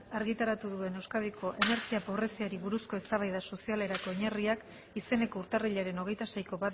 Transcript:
argitaratu duen euskadiko energia pobreziari buruzko eztabaida sozialerako oinarriak izeneko urtarrilaren hogeita seiko